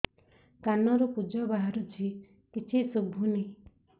କାନରୁ ପୂଜ ବାହାରୁଛି କିଛି ଶୁଭୁନି